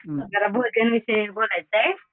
जरा भोजन विषयी बोलायचं आहे.